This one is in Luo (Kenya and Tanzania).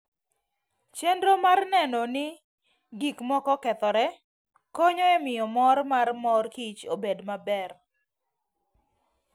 Chenro mar neno ni gik moko okethore, konyo e miyo mor mar mor kich obed maber.